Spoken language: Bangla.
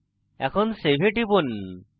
এখন save এ টিপুন